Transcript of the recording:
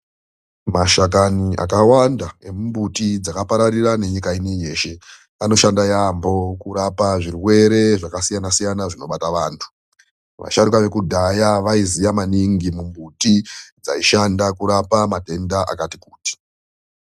Mashakani akawanda emumbuti dzakapararira nenyika inei yeshe anoshanda yaampho kurapa zvirwere zvakasiyana-siyana zvinobata vantu. Vasharukwa vekudhaya vaiziya maningi mimbuti dzaishanda kurapa matenda akati kuti.